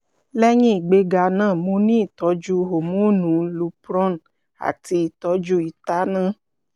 lẹhin igbega naa mo ni itọju homonu lupron ati itọju itanna